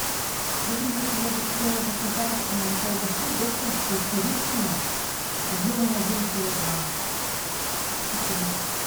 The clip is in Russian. добрый вечер я бы хотела заказать колбасу докторскую царицыно объемом один килограмм спасибо